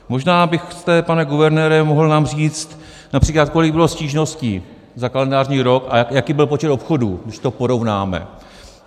Možná byste, pane guvernére, mohl nám říct například, kolik bylo stížností za kalendářní rok a jaký byl počet obchodů, když to porovnáme.